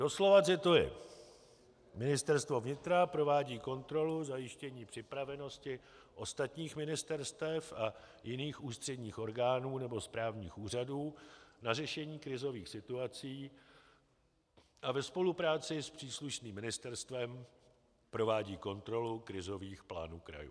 Doslova cituji: "Ministerstvo vnitra provádí kontrolu zajištění připravenosti ostatních ministerstev a jiných ústředních orgánů nebo správních úřadů na řešení krizových situací a ve spolupráci s příslušným ministerstvem provádí kontrolu krizových plánů krajů."